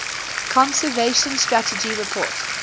conservation strategy report